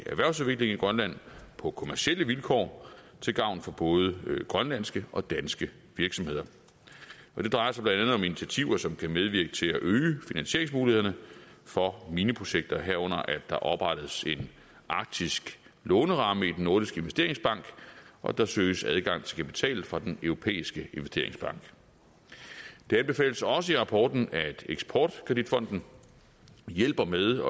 grønland på kommercielle vilkår til gavn for både grønlandske og danske virksomheder det drejer sig blandt andet om initiativer som kan medvirke til at øge finansieringsmulighederne for mineprojekter herunder at der oprettes en arktisk låneramme i den nordiske investeringsbank og at der søges adgang til kapital fra den europæiske investeringsbank det anbefales også i rapporten at eksport kredit fonden hjælper med